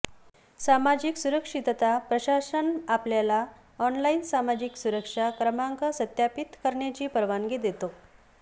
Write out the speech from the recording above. सामाजिक सुरक्षितता प्रशासन आपल्याला ऑनलाइन सामाजिक सुरक्षा क्रमांक सत्यापित करण्याची परवानगी देतो